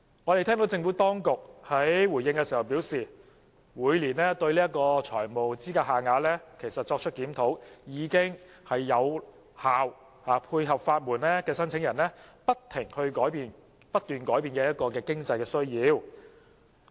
我們聽到政府當局回應時表示，每年對財務資格限額作出檢討，已能有效配合法援申請人不斷改變的經濟需要。